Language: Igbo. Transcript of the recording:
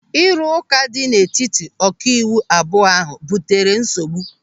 Ịrụka dị n'etiti ọkaiwu abụọ ahụ butere nsogbu.